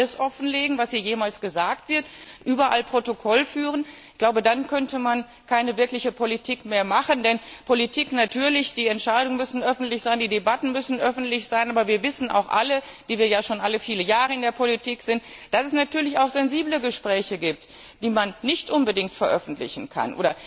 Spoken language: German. Muss man alles offenlegen, was hier jemals gesagt wird, überall Protokoll führen? Ich glaube, dann könnte man keine wirkliche Politik mehr machen, denn natürlich müssen die Entscheidungen öffentlich sein, müssen die Debatten öffentlich sein, aber wir wissen auch alle, die wir ja schon viele Jahre in der Politik sind, dass es natürlich auch sensible Gespräche gibt, die man nicht unbedingt veröffentlichen kann.